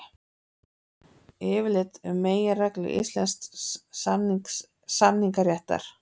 Yfirlit um meginreglur íslensks samningaréttar.